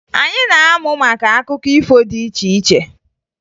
Anyị na-amụ maka akụkọ ifo dị iche iche